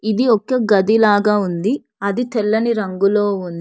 ఇది ఒక్క గది లాగా ఉంది అది తెల్లని రంగులో ఉం--